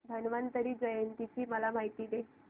धन्वंतरी जयंती ची मला माहिती दे